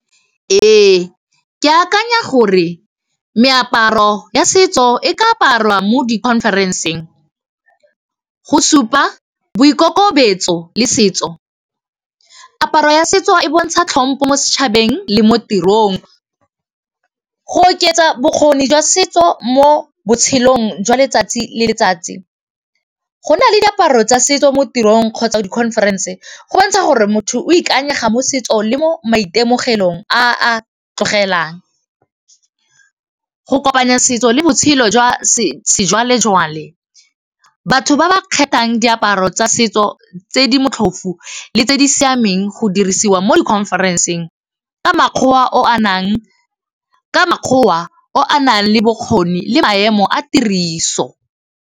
Ee, ke akanya gore meaparo ya setso e ka aparwa mo di conference-ng go supa boikokobetso le setso, aparo ya setso e bontsha tlhompo mo setšhabeng le mo tirong go oketsa bokgoni jwa setso mo botshelong jwa letsatsi le letsatsi, go na le diaparo tsa setso mo tirong kgotsa di conference go bontsha gore motho o ikanyega mo setso le mo maitemogelong a a tlogelwang go kopanya setso le botshelo jwa sejwalejwale batho ba ba kgethang diaparo tsa setso tse di motlhofu le tse di siameng go dirisiwa mo di conference-ng ka makgwoa a nang le bokgoni le maemo a tiriso.